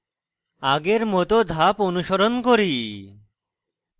আগের মত ধাপ অনুসরণ করি